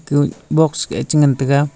kueh box eh chengan taiga.